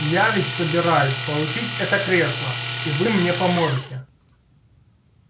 я ведь собираюсь получить это кресло и вы мне поможете